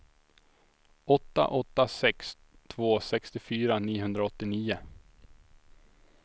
åtta åtta sex två sextiofyra niohundraåttionio